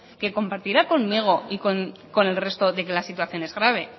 que compartirá conmigo y con el resto de que la situación es grave